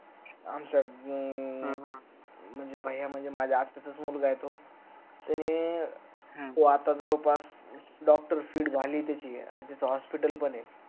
आमच अं भैएया म्हणजे माझ्या आत्याचाच मुलगा आहे तो त्याने आता तो जवळपास doctor पण झालय त्याची आणि त्याच hospital पण आहे